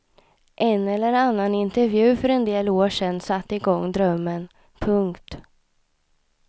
En eller annan intervju för en del år sedan satte igång drömmen. punkt